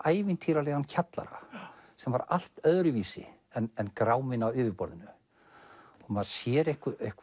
ævintýralegan kjallara sem var allt öðruvísi en gráminn á yfirborðinu og maður sér